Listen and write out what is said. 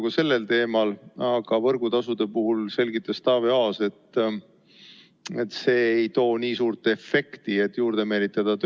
Ka sel teemal oli arutelu, aga võrgutasude kohta selgitas Taavi Aas, et see ei too nii suurt efekti, et tööstust juurde meelitada.